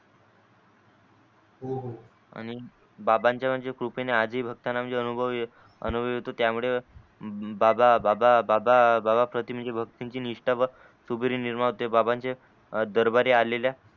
आणि बाबांच्या म्हणजे कृपेने आज ही भक्ताना म्हणजे अनुभव येतो त्या मूळे बाबा बाबा बाबा करते म्हणजे भक्तांची निष्टा कृपेने निर्माण होते बाबांच्या दरबारी आलेल्या